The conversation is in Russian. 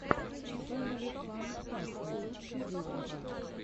фэмили фан пак лучший выпуск